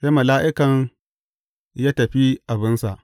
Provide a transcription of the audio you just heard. Sai mala’ikan ya tafi abinsa.